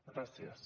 gràcies